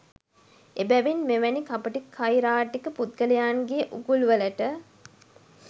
එබැවින් මෙවැනි කපටි කයිරාටික පුද්ගලයන්ගේ උගුල්වලට